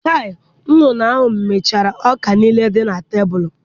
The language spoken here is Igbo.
Chaị, nduru ahụ mechara ọka niile dị na tebụl.